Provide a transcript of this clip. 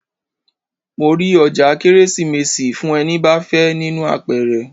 Mo rí ọjà Kérésìmesì fún ẹni bá fẹ́ nínú àpẹrẹ.